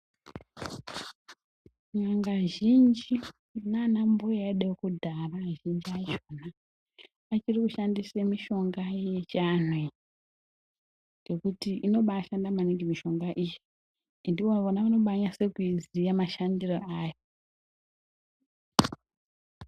N'anga zhinji nana mbuya edu ekudhaya vachiri kushandisa mishonga yedu yechiandu iyi ngekuti inobashanda maningi mishonga iyi ende ivona vanonyatsoiziva mashandiro ayo.